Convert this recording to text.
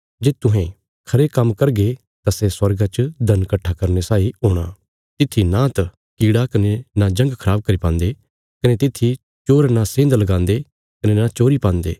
जे तुहें खरे काम्म करगे तां सै स्वर्गा च धन कट्ठा करने साई हूणा तित्थी नांत कीड़ा कने न जंग खराब करी पान्दे कने तित्थी चोर न सेंध लगान्दे कने न चोरी पान्दे